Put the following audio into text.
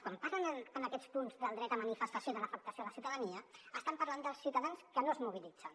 quan parlen en aquests punts del dret a manifestació i de l’afectació a la ciutadania estan parlant dels ciutadans que no es mobilitzen